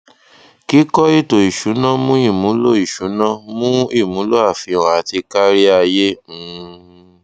kíkọ etò ìsúná mú ìmúlò ìsúná mú ìmúlò àfihàn àti káríayé um